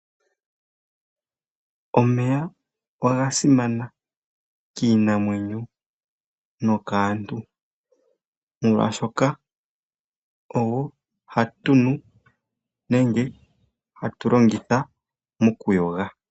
Omeya oga simana kiinamwenyo nokaantu, molwashoka ogo hatu nu nenge hatu longitha mokuyoga.